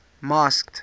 masked